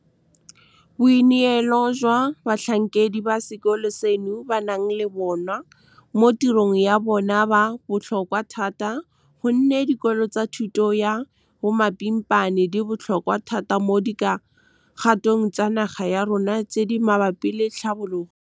Boineelo jo batlhankedi ba sekolo seno ba nang le bona mo tirong ya bona bo botlhokwa thata go nne dikolo tsa thuto ya bomapimpana di botlhokwa thata mo di kgatong tsa naga ya rona tse di mabapi le tlhabologo. Boineelo jo batlhankedi ba sekolo seno ba nang le bona mo tirong ya bona bo botlhokwa thata go nne dikolo tsa thuto ya bomapimpana di botlhokwa thata mo di kgatong tsa naga ya rona tse di mabapi le tlhabologo.